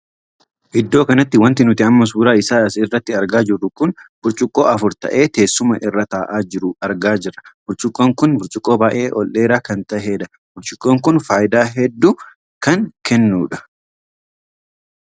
Iddoo kanatti wanti nuti amma suuraa isaa as irratti argaa jirru kun burcuqqoo afur tahee teessuma irra taa'aa jiru argaa jirra. burcuqqoon kun burcuqqoo baay'ee ol dheeraa kan tahedha. burcuqqoon kun faayidaa hedduu kan kennudha.